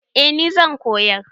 Eh ni zan koyar.